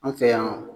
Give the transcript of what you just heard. An fɛ yan